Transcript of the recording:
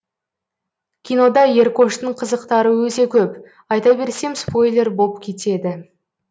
кинода еркоштың қызықтары өте көп айта берсем спойлер боп кетеді